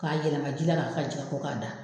K'a yɛlɛma k'i ka na a ka jɛn ka bɔ k'a da.